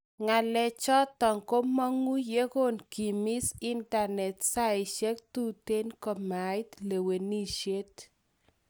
Ngalechoton komongu yegon kimis internet saishek tuten komait lewenisiet